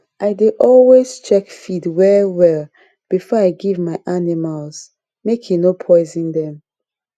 i dey always check feed well well before i give my animals make e no poison dem